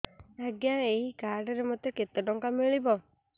ଆଜ୍ଞା ଏଇ କାର୍ଡ ରେ ମୋତେ କେତେ ଟଙ୍କା ମିଳିବ